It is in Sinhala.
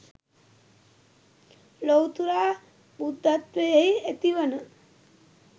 ලොවුතුරා බුද්ධත්වයෙහි ඇතිවන